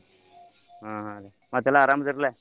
ಹಾ ಹ್ಞಾ ರ್ರೀ ಮತ್ತೆಲ್ಲಾ ಅರಾಮದಿರಿಲ್ಲ?